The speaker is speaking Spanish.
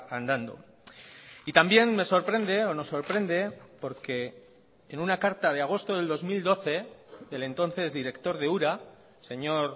andando y también me sorprende o nos sorprende porque en una carta de agosto del dos mil doce del entonces director de ura señor